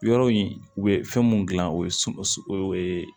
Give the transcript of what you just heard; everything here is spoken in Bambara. Yɔrɔ in u bɛ fɛn mun gilan o ye sun o ye